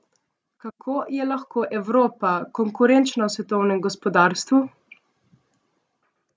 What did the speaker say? Kako je lahko Evropa konkurenčna v svetovnem gospodarstvu?